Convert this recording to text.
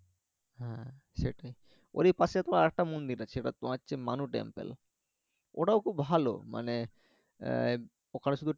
হ্যা সেটাই ওরই পাশে তো আর একটা মন্দির আছে সেটা তোমার হচ্ছে মানু টেম্পল ওটাও খুব ভালো মানে আহ ওখানে শুধু